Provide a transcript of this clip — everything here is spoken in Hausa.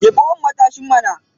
Jefo mun matashin nan.